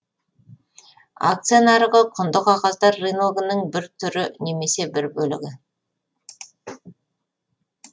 акция нарығы құнды қағаздар рыногының бір түрі немесе бір бөлігі